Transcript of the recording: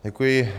Děkuji.